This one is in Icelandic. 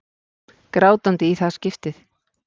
Grátandi í það skipti.